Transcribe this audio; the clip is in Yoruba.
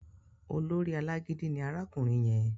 Olórí alágídí ni arákùnrin yẹn